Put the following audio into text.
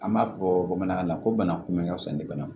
An b'a fɔ bamanankan na ko bana kunbɛn ka fisa ni bana